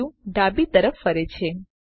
view ડાબી તરફ ફરે છે